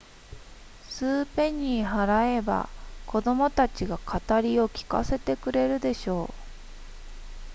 数ペニー払えば子供たちが語を聞かせてくれるでしょう